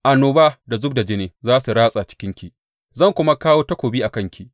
Annoba da zub da jini za su ratsa cikinki, zan kuma kawo takobi a kanki.